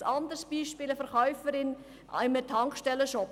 Ein anderes Beispiel ist eine Verkäuferin in einem Tankstellenshop: